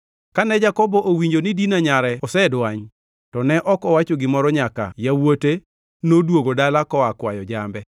Kane Jakobo owinjo ni Dina nyare osedwany to ne ok owacho gimoro nyaka yawuote noduogo dala koa kwayo jambe.